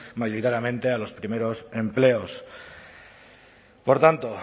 mayoritariamente a los primeros empleos por tanto